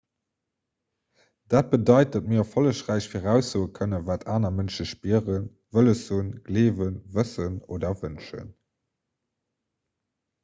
dat bedeit datt mir erfollegräich viraussoe kënnen wat aner mënsche spieren wëlles hunn gleewen wëssen oder wënschen